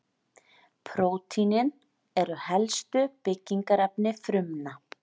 prótínin eru helstu byggingarefni frumna